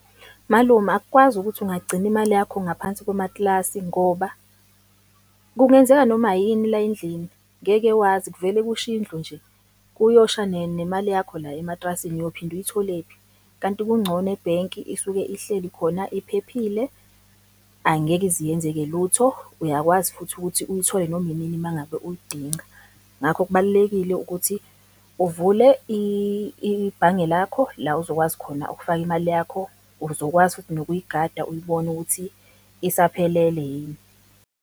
Malume, akukwazi ukuthi ungagcina imali yakho ngaphansi komatilasi ngoba kungenzeka noma yini la endlini, ngeke wazi kuvele kushe indlu nje, kuyosha nemali yakho la ematrasini uyophinde uyitholephi? Kanti kuncono ebhenki isuke ihleli khona iphephile, angeke ize iyenzeke lutho, uyakwazi futhi ukuthi uyithole noma inini mangabe uyidinga. Ngakho kubalulekile ukuthi uvule ibhange lakho la ozokwazi khona ukufaka imali yakho, uzokwazi futhi nokuyigada uyibone ukuthi isaphelele yini.